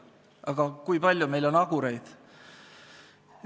Aga kui palju on meil Agureid?